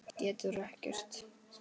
Getur ekkert.